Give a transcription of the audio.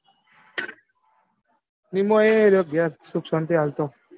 નીમો એ રહ્યો ઘેર સુખ શાંતિ હાલ તો.